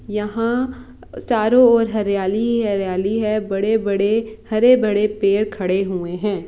यहा चारों और हरियाली ही हरियाली है बड़े-बड़े हरे-भरे पेड़ खड़े हवे है ।